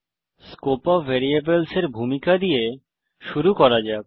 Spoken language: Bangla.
স্কোপ অফ ভ্যারিয়েবলসের ভূমিকা দিয়ে শুরু করা যাক